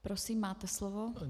Prosím, máte slovo.